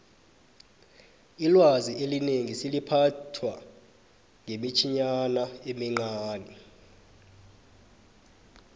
ilwazi elinengi seliphathwa ngemitjhinyana emincani